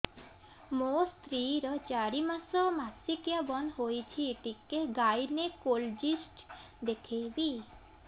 ମୋ ସ୍ତ୍ରୀ ର ଚାରି ମାସ ମାସିକିଆ ବନ୍ଦ ହେଇଛି ଟିକେ ଗାଇନେକୋଲୋଜିଷ୍ଟ ଦେଖେଇବି